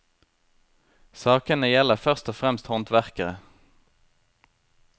Sakene gjelder først og fremst håndverkere.